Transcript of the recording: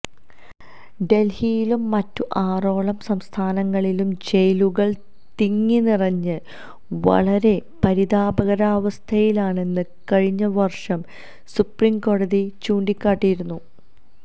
ദല്ഹിയിലും മറ്റു ആറോളം സംസ്ഥാനങ്ങളിലും ജയിലുകല് തിങ്ങി നിറഞ്ഞ് വളരെ പരിതാപകരാവസ്ഥയിലാണെന്ന് കഴിഞ്ഞ വര്ഷം സുപ്രീം കോടതി ചൂണ്ടിക്കാട്ടിയിരുന്നു